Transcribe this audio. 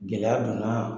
Gɛlɛya donna